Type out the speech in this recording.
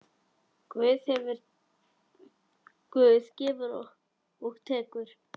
Guð gefur og tekur.